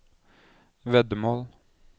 veddemål